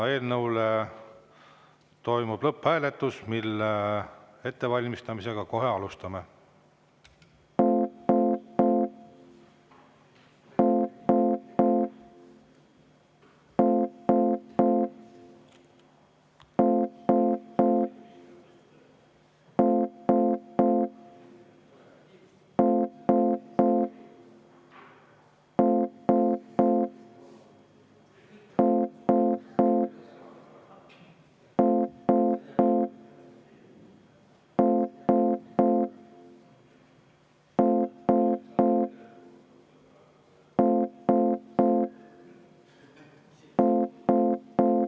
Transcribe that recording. Toimub lõpphääletus, mille ettevalmistamist kohe alustame.